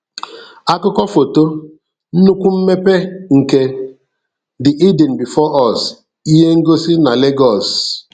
Akụkọ Foto: nnukwu mmepe nke "The Eden Before Us" ihe ngosi na Legọọs